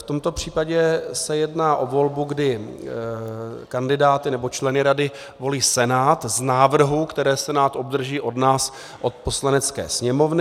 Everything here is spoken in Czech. V tomto případě se jedná o volbu, kdy kandidáty, nebo členy rady volí Senát z návrhů, které Senát obdrží od nás, od Poslanecké sněmovny.